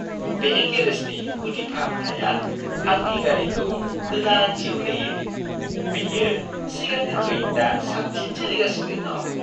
बे गेरेजनि गुदि फाहामथाइआ आंनि गारिखौ गोदान जिउ होयो; बेयो सिगांनिख्रुइ दा साबसिन सोलिगासिनो दं।